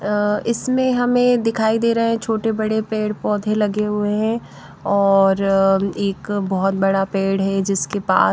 अ इसमें हमें दिखाई दे रहे हैं छोटे बड़े पेड़ पौधे लगे हुए हैं और अ एक बहोत बड़ा पेड़ है जिसके पास--